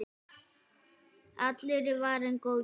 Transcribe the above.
Allur er varinn góður.